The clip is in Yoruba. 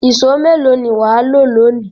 Ìṣó mélòó ni wà á lò lónìí?